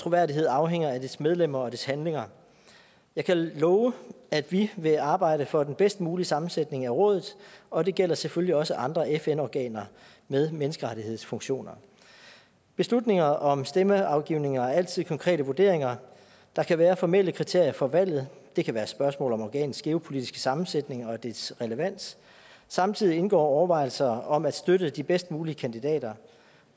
troværdighed afhænger af dets medlemmer og dets handlinger jeg kan love at vi vil arbejde for den bedst mulige sammensætning af rådet og det gælder selvfølgelig også andre fn organer med menneskerettighedsfunktioner beslutninger om stemmeafgivning er altid konkrete vurderinger der kan være formelle kriterier for valget det kan være spørgsmål om organets geopolitiske sammensætning og dets relevans samtidig indgår overvejelser om at støtte de bedst mulige kandidater